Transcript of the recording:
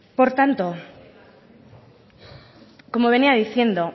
por tanto como venía diciendo